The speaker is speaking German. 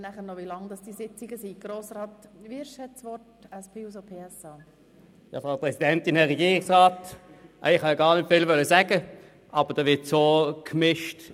Ich wollte eigentlich nicht viel dazu sagen, jedoch wird nun einiges miteinander vermischt.